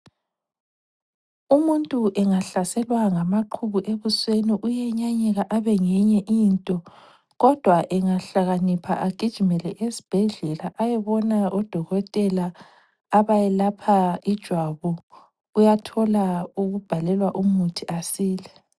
Umuntu engahlaselwa ngamaqhubu ebusweni uyenyanyeka abe ngenye into. Kodwa angahlakanipha agijimele esbhedlela ayebona odokotela abayelapha ijwabu, uyathola ukubhalelwa umuthi asile.